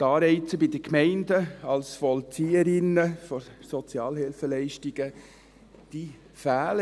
Die Anreize bei den Gemeinden, als Vollzieherinnen von Sozialhilfeleistungen, fehlen.